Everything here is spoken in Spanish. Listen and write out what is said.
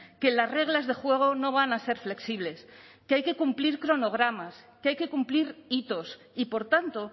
que las reglas de juego no van a ser flexibles que hay que cumplir cronogramas que hay que cumplir hitos y por tanto